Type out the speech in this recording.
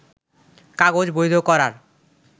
কাগজ বৈধ করার